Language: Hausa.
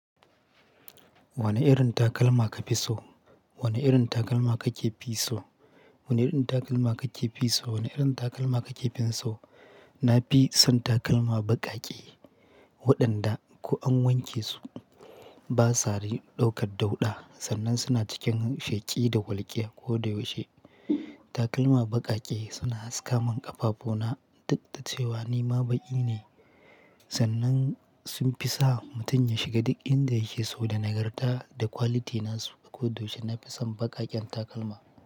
Wane irin takalma ka fi so? Wane irin takalma ka ke fi so? Wane irin takalma ka ke fi so? Wane irin takalma ka ke fi so? Na fi son takalma baƙaƙe waɗanda ko an wanke su ba sa ɗaukar dauɗa sannan suna cikin sheƙi da walƙiya ko da yaushe. Takalma baƙaƙe suna haskawa min ƙafafu na, ɗuk dacewa ni ma baƙi ne sannan sun fi sa mutum ya shiga duk inda yake so da nagarta da quality na su, ko da yaushe na fi son baƙaƙen takalma.